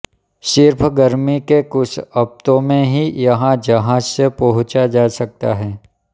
सिर्फ गर्मी के कुछ हफ्तों में ही यहां जहाज से पहुंचा जा सकता है